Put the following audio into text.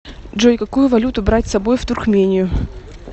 джой какую валюту брать с собой в туркмению